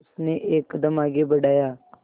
उसने एक कदम आगे बढ़ाया